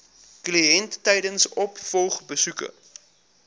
kliënt tydens opvolgbesoeke